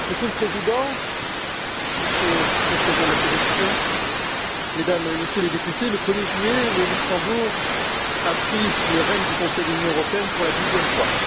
Monsieur le Président, Monsieur le Président de la Commission, Mesdames et Messieurs les Députés, le 1er juillet, le Luxembourg a pris les rênes du Conseil de l'Union européenne pour la douzième fois.